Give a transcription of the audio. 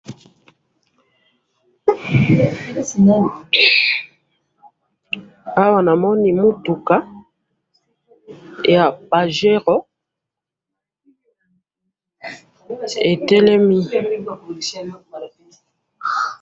awa na moni mutuka ya pajero etelemi